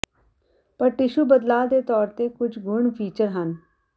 ਪਰ ਟਿਸ਼ੂ ਬਦਲਾਅ ਦੇ ਤੌਰ ਤੇ ਕੁਝ ਗੁਣ ਫੀਚਰ ਹਨ